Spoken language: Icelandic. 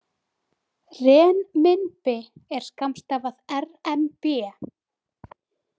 Renminbi er skammstafað RMB.